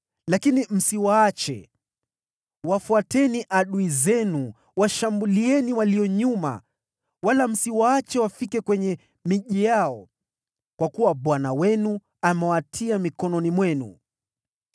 Lakini msiwaache! Wafuatieni adui zenu, washambulieni kutoka nyuma, wala msiwaache wafike kwenye miji yao, kwa kuwa Bwana Mungu wenu amewatia mkononi mwenu.”